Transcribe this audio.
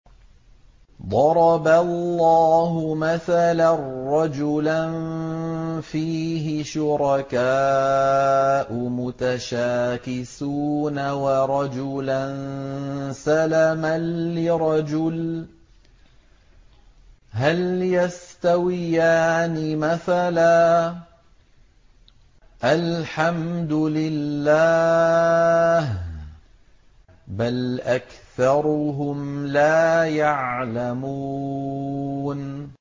ضَرَبَ اللَّهُ مَثَلًا رَّجُلًا فِيهِ شُرَكَاءُ مُتَشَاكِسُونَ وَرَجُلًا سَلَمًا لِّرَجُلٍ هَلْ يَسْتَوِيَانِ مَثَلًا ۚ الْحَمْدُ لِلَّهِ ۚ بَلْ أَكْثَرُهُمْ لَا يَعْلَمُونَ